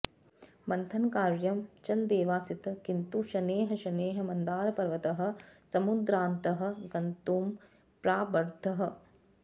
मन्थनकार्यं चलदेवासीत् किन्तु शनैः शनैः मन्दारपर्वतः समुद्रान्तः गन्तुं प्रारब्धः